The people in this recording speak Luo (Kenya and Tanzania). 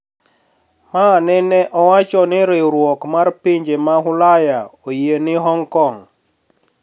Ma nene owacho ni riwruok mar pinje mag Ulaya oyie ni Hong Kong